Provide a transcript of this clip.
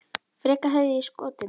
Frekar hefði ég skotið mig.